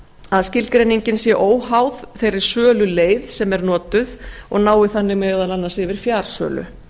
að skilgreiningin sé óháð þeirri söluleið sem er notuð og nái þannig meðal annars yfir fjarsölu